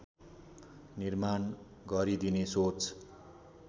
निर्माण गरिदिने सोच